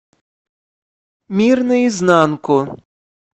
мир наизнанку